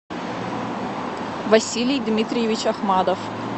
василий дмитриевич ахмадов